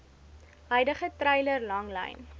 huidige treiler langlyn